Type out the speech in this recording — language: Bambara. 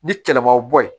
Ni kɛlɛmaw bɔ ye